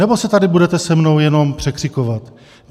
Nebo se tady budete se mnou jenom překřikovat?